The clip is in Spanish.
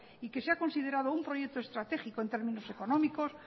y que se ha considerado un proyecto estratégico en términos económicos